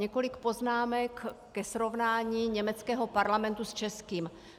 Několik poznámek ke srovnání německého parlamentu s českým.